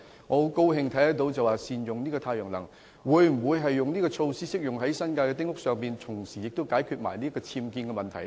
我很高興施政報告提出善用太陽能的建議，但這項措施是否適用於新界丁屋，以及能否同時解決僭建的問題？